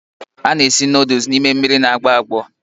A na-esi nuduls n'ime mmiri na-agbọ agbọ.